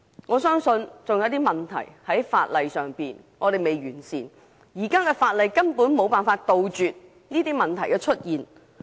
我相信還有一些問題是法例未能圓滿解決的，而現行法例根本無法杜絕這些問題的出現。